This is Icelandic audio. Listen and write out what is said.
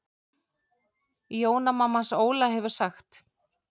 Jóna mamma hans Óla hefur sagt.